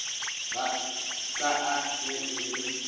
sa a ge e le